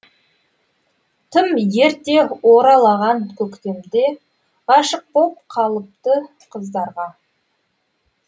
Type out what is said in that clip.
тым ерте оралаған көктем де ғашық боп қалыпты қыздарға